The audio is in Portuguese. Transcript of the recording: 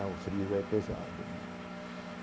Lá o frio é pesado né.